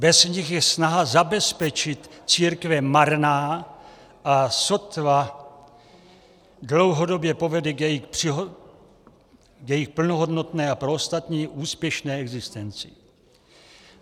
Bez nich je snaha zabezpečit církve marná a sotva dlouhodobě povede k jejich plnohodnotné a pro ostatní úspěšné existenci.